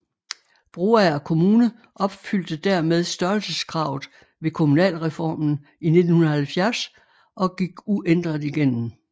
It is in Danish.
Broager Kommune opfyldte dermed størrelseskravet ved kommunalreformen i 1970 og gik uændret igennem